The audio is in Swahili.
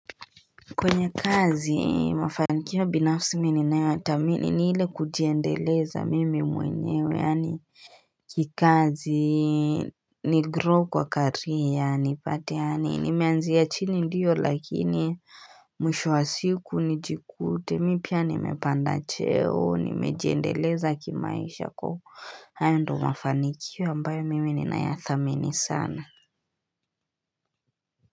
Kwenye kazi mafanikio ya binafsi mini nayothamini ni ile kujiendeleza mimi mwenyewe yani kikazi nigrow kwa career yani pate yani nimeanzia chini ndiyo lakini mwisho wa siku nijikute mi pia nimepanda cheo nimejiendeleza kimaisha kwa hayo ndio mafanikio ambayo mimi ninaya thamini sana.